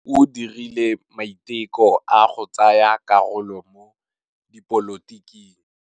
O dirile maitekô a go tsaya karolo mo dipolotiking.